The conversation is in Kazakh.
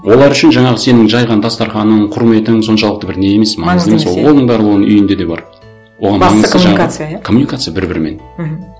олар үшін жаңағы сенің жайған дастарқаның құрметің соншалықты бір не емес маңызды емес иә оның барлығы оның үйінде де бар басты коммуникация иә коммуникация бір бірімен мхм